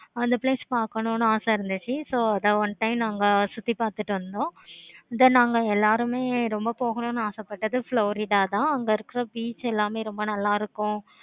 அந்த place பார்க்கணும் ஆசை இருந்துச்சி. so அதன் one time சுத்தி பார்த்துட்டு வந்தோம். then அங்க எல்லாருமே ரொம்ப போகணும் ஆச பட்டது florida அங்க இருக்க beach எல்லாமே நல்ல இருக்கும்.